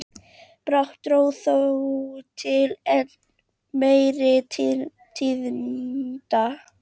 Brátt dró þó til enn meiri tíðinda.